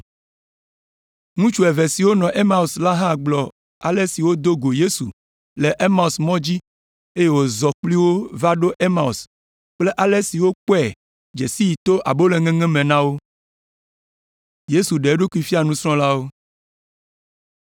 Ŋutsu eve siwo tso Emaus la hã gblɔ ale si wodo go Yesu le Emaus mɔ dzi eye wòzɔ kpli wo va ɖo Emaus kple ale si wokpɔe dze sii to aboloŋeŋe me na wo.